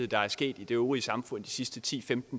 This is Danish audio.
der er sket i det øvrige samfund i de sidste ti til